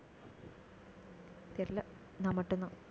தெரியல, நான் மட்டும்தான்